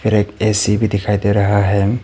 एक ए_सी भी दिखाई दे रहा है।